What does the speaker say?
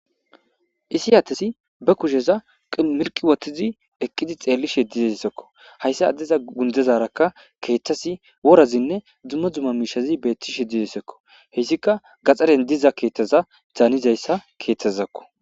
Isi atesi ba kusheza mirqi wottizi eqqidi xeelli shedidessekko hayssa addeza gundezarakka keeththasi worazinne dzumma dzumma miishazi beetti she didesekko hessika gaxaren diza keeththaza zaanizayssa keeththazzakko.